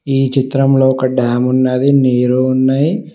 ఈ చిత్రంలో ఒక డామ్ ఉన్నది నీరు ఉన్నయ్.